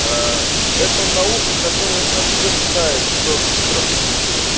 ээ это наука которая подтверждает что стратегически